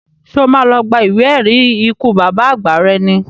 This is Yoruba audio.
Ṣé o má lọ gba ìwé ẹ̀rí ikú bàbá àgbà rẹ ni?